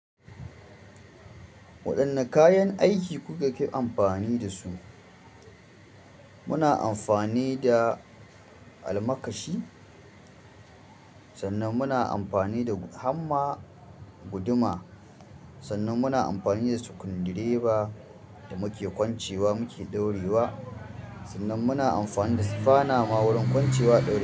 Waɗanne kayan aiki kuka ki amfani da su? Muna amfani da almakashi, sannan muna amfani da hamma, guduma, sannan muna amfani da sukundireba da muke kwancewa muke ɗaurewa, sannan muna amfani da sifana ma wurin kwancewa ɗaurewa.